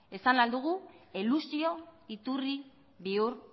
esan ahal dugu elusio iturri bihur